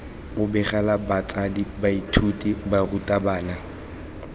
u begela batsadi baithuti barutabana